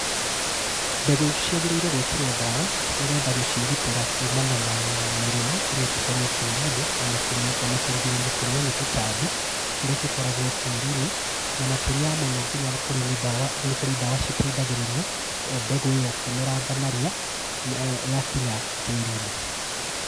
Mbegũ ciagĩrĩire gwĩkĩrwo ndawa nĩgetha gũciĩgitĩra kumana na mĩrimũ ĩrĩa ĩngĩkorwo tĩrinĩ ona kũrigĩrĩria kũrĩo nĩ tũtambi, tũrĩa tũkoragwo tĩrinĩ, na makĩria ma mũno nĩ kũrĩ dawa citeithagĩrĩria mbegũ ĩyo kũmeranga narua yakinya tĩri-inĩ.